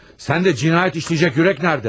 Sən də cinayət işləyəcək ürək nədə?